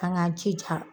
An k'an jija